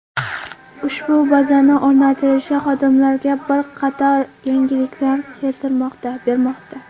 Ushbu bazani o‘rnatilishi xodimlarga bir qator yengilliklar bermoqda.